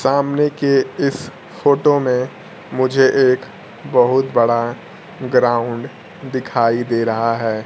सामने के इस फोटो मे मुझे एक बहुत बड़ा ग्राउंड दिखाई दे रहा है।